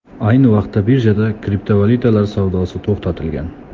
Ayni vaqtda birjada kriptovalyutalar savdosi to‘xtatilgan.